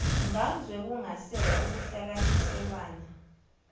ngamzwe kungaseka ukuhlukaniselwana